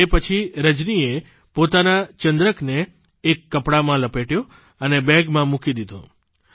તે પછી રજનીએ પોતાના ચંદ્રકને એક કપડામાં લપેટ્યો અને બેગમાં મૂકી દીધો